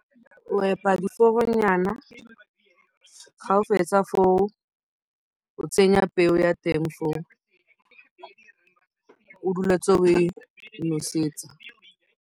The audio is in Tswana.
O epa diforonyana, fa o fetsa foo o tsenya peo ya teng foo. O dule o ntse o e nosetsa.